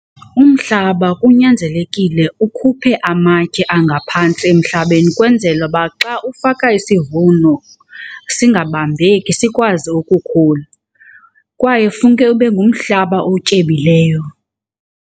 Umhlaba kunyanzelekile ukhuphe amatye angaphantsi emhlabeni kwenzela uba xa ufaka isivuno singabambeki sikwazi ukukhula. Kwaye funeke ube ngumhlaba otyebileyo.